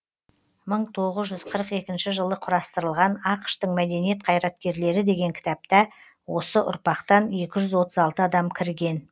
мың тоғыз жүз қырық екінші жылы құрастырылған ақш тың мәдениет қайраткерлері деген кітапта осы ұрпақтан екі жүз отыз алты адам кірген